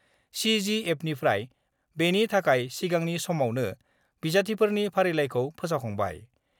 सिजिएफनिफ्राय बेनि थाखाय सिगांनि समावनो बिजाथिफोरनि फारिलाइखौ फोसावखांबाय।